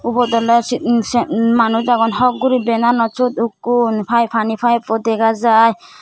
ubot oleh se um se um manuj agon hokh gori benanot okkun pai pani pipe pu dega jai.